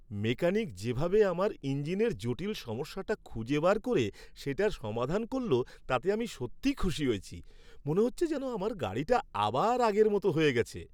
Mechanic যেভাবে আমার ইঞ্জিনের জটিল সমস্যাটা খুঁজে বার করে সেটা সমাধান করল তাতে আমি সত্যিই খুশি হয়েছি; মনে হচ্ছে যেন আমার গাড়িটা আবার আগের মতো হয়ে গেছে।